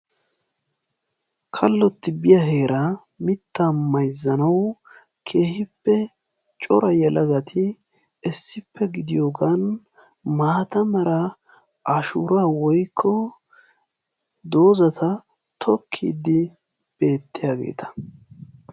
Kallotti biyaa heeraa mittaa mayzzanawu keehippe cora yelagati issippe gidiyoogan maata mala ashshuuraa woykko doozata tokkiidi beettiyaageta.